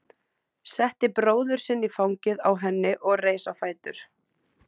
Setti bróður sinn í fangið á henni og reis á fætur.